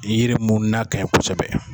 Yiri mun n'a kanɲi kosɛbɛ